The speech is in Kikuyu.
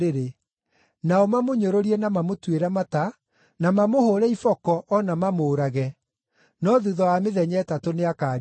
nao mamũnyũrũrie na mamũtuĩre mata, na mamũhũũre iboko o na mamũũrage. No thuutha wa mĩthenya ĩtatũ nĩakariũka.”